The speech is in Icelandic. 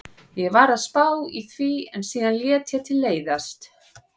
Ég var að spá í því en síðan lét ég til leiðast.